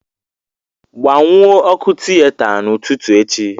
Gbanwuo ọkụ tiyeta n'ụtụtụ echi